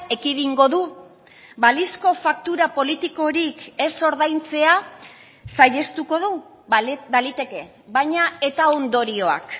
ekidingo du balizko faktura politikorik ez ordaintzea saihestuko du baliteke baina eta ondorioak